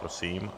Prosím.